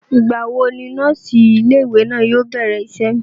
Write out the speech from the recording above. ìgbà wo ni nọ́ọ̀sì ilé ìwé náà yóò bẹ̀rẹ̀ isẹ́?